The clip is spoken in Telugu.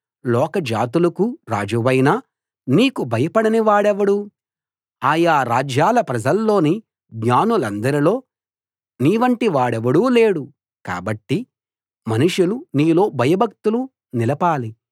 లోక జాతులకు రాజువైన నీకు భయపడని వాడెవడు ఆయా రాజ్యాల ప్రజల్లోని జ్ఞానులందరిలో నీవంటి వాడెవడూ లేడు కాబట్టి మనుషులు నీలో భయభక్తులు నిలపాలి